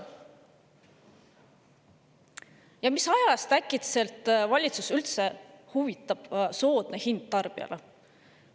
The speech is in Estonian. Ja mis ajast äkitselt valitsust üldse huvitab soodne hind tarbijale?